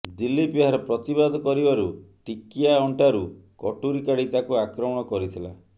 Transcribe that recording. ଦିଲ୍ଲୀପ ଏହାର ପ୍ରତିବାଦ କରିବାରୁ ଟିକିଆ ଅଣ୍ଟାରୁ କଟୁରି କାଢ଼ି ତାଙ୍କୁ ଆକ୍ରମଣ କରିଥିଲା